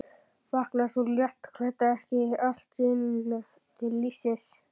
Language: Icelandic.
Vaknaði sú léttklædda ekki allt í einu til lífsins!